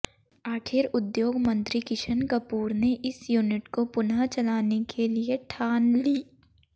आखिर उद्योग मंत्री किशन कपूर ने इस यूनिट को पुनः चलाने के लिए ठान ली